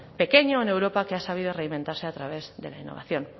pequeño en europa que ha sabido reinventarse a través de la innovación